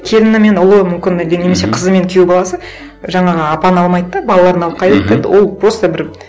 келіні мен ұлы мүмкін әлде немесе қызы мен күйеу баласы жаңағы апаны алмайды да балаларын алып ол просто бір